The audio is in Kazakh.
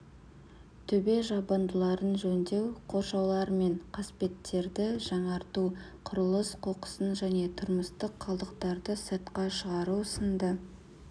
төбе жабындыларын жөндеу қоршаулар мен қасбеттерді жаңарту құрылыс қоқысын және тұрмыстық қалдықтарды сыртқа шығару сынды